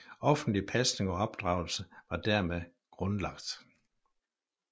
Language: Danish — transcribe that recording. Offentlig pasning og opdragelse var dermed grundlagt